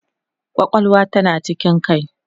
kwakwalwa tana cikin kai